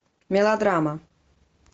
мелодрама